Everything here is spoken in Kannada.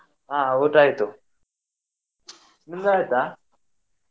ಹಾ ಊಟ ಆಯ್ತು ನಿಮ್ದು ಆಯ್ತಾ?